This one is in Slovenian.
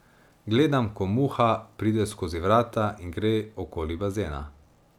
Gledam, ko Muha pride skozi vrata in gre okoli bazena.